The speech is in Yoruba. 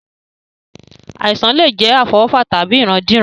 Àìsàn lè jẹ́ àfọwọ́fà tàbí ìrandíran